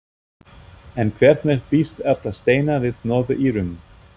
En hvernig býst Erla Steina við Norður-Írum?